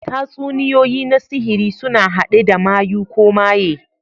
Tatsuniyoyi na sihiri suna haɗe da mayu ko maye.